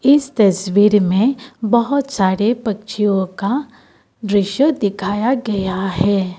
इस तस्वीर में बहोत सारे पक्षियों का दृश्य दिखाया गया है।